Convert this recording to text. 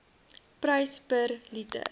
prys per liter